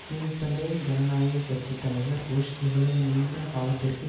கீழ் சபை ஜனநாயக கட்சி தலைவர் புஷ் இவ்வளவு நீண்ட காலத்திற்கு